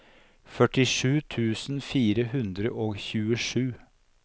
førtisju tusen fire hundre og tjuesju